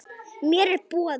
Mér er boðið.